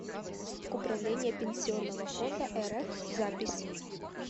управление пенсионного фонда рф запись